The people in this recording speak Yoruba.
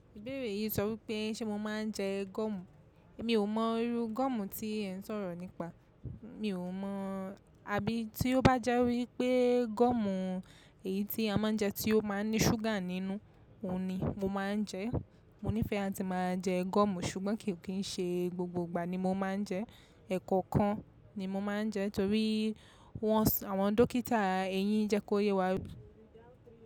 Ìbéèrè yìí ń sọ wí pé ṣe mo máa ń jẹ gọ́ọ̀mù? Mi ò mọ irú gọ́ọ̀mù tí ẹ̀ ń sọ̀rọ̀ nípa. Mi ò mọ, àbí tí ó bá jẹ́ wípé gọ́ọ̀mù èyí tí a máa ń jẹ tí ó máa ń ní ṣúgà nínú, òun ni mo máa ń jẹ. Mo nífẹ̀ẹ́ àti máa jẹ gọ́ọ̀mù ṣùgbọ́n kì í ṣe gbogbo ìgbà ni mo máa ń jẹ, ẹ̀kọ̀kan ni mo máa ń jẹ torí wọ́n, àwọn dókítà eyín jẹ́ kó yé wa.